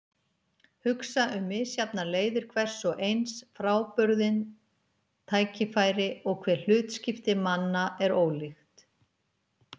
Hugsa um misjafnar leiðir hvers og eins, frábrugðin tækifæri- og hve hlutskipti manna er ólíkt.